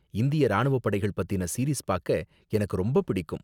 இந்திய ராணுவ படைகள் பத்தின சீரீஸ் பாக்க எனக்கு ரொம்ப பிடிக்கும்.